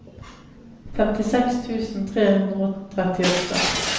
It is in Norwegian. femtiseks tusen tre hundre og trettiåtte